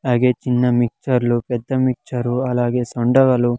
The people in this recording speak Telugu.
అలాగే చిన్న మిక్స్చర్లు పెద్ద మిక్స్చర్ అలాగే సొండగలు.